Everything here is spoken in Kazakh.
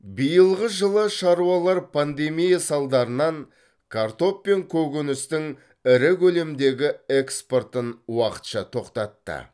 биылғы жылы шаруалар пандемия салдарынан картоп пен көкөністің ірі көлемдегі экспортын уақытша тоқтатты